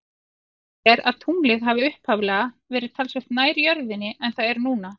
Talið er að tunglið hafi upphaflega verið talsvert nær jörðinni en það er núna.